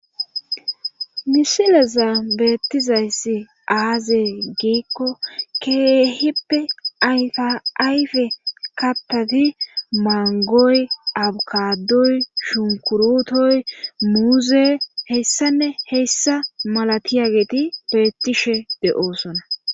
misilezan beettizayssi aaze giikko keehippe ayfa ayfe kattati manggoy abukkadoy shunkkuruutoy muuzey heyssa heyssa malatiyageti beettishe de7oosona.